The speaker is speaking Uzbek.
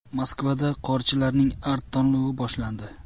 Moskvada qorchilarning Art-tanlovi boshlandi.